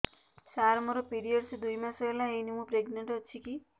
ସାର ମୋର ପିରୀଅଡ଼ସ ଦୁଇ ମାସ ହେଲା ହେଇନି ମୁ ପ୍ରେଗନାଂଟ ଅଛି କି